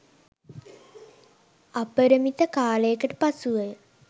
අපරිමිත කාලයකට පසුවය.